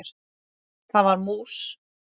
Það var mús!